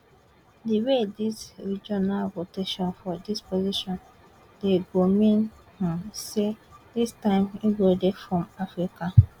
di way dis regional rotation for dis position dey go mean um say dis time e dey come from africa